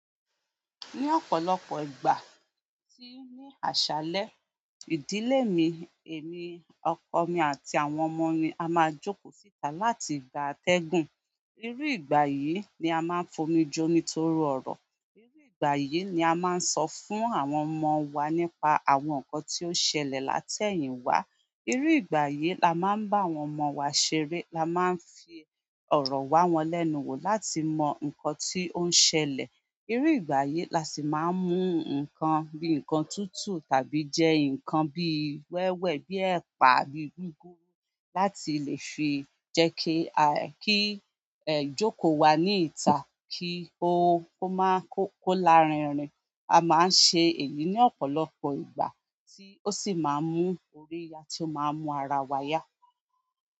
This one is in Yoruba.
Ní ọ̀pọ̀lọpọ̀ ìgbà tí ní àṣálẹ́, ìdílé mi, èmi, ọkọ mi àti àwọn ọmọ mi a máa jókòó síta láti gba atẹ́gùn. Irú ìgbà yìí ni a máa ń fomi jomi toro ọ̀rọ̀. Iru ìgbà yìí ni a maa n sọ fún àwọn ọmọ wa nípa àwọn nkan to sẹlẹ latẹyin wa. Irú ìgbà yìí la máa ń bá àwọn ọmọ wa ṣeré. La máa ń fi ọ̀rọ̀ wa wọ́n lẹ́nu wò láti mọ nǹkan tí ó ń ṣẹlẹ̀. Irú ìgbà yìí la sì máa ń mú nǹkan bíi nǹkan tútù tàbí jẹ́ nǹkan bíi wẹ́wẹ́ bíi ẹ̀pà àbí gúgúrú láti lè fi jẹ́kí, ki ìjókòó wa ní ìta kí ó, ó máa kó kó lárinrin. A maa n ṣe èyí ni ọ̀pọ̀lọpọ̀ ìgbà ti o si maa n mu orí ya ti o maa n mu ara wa ya.